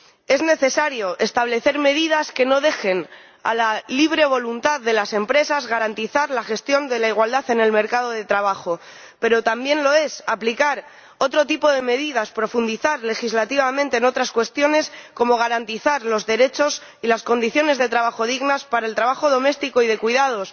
Es necesario establecer medidas que no dejen a la libre voluntad de las empresas garantizar la gestión de la igualdad en el mercado de trabajo, pero también lo es aplicar otro tipo de medidas, profundizar legislativamente en otras cuestiones, como garantizar los derechos y unas condiciones de trabajo dignas para el trabajo doméstico y de cuidados,